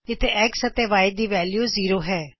ਇਥੇ X ਅਤੇ Y ਦੀ ਵੈਲਯੂ ਜ਼ੀਰੋ ਹੈ